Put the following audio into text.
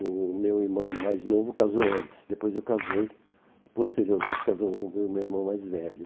O meu irmão mais novo casou antes, depois eu casei, e posteriormente casou o meu irmão mais velho.